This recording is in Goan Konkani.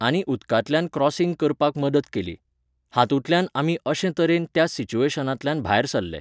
आनी उदकांतल्यान क्रोसींग करपाक मदत केली. हातुंतल्यान आमी अशें तरेन त्या सिचुएशनांतल्यान भायर सरले